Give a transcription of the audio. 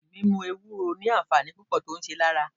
Mímú Ewúro ni àǹfààní púpò tí ó ṣe lára.